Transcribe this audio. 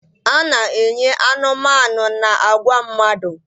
A na-enye anụmanụ na agwa mmadụ.